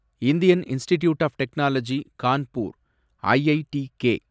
Indian Institute of Technology Kanpur, IITK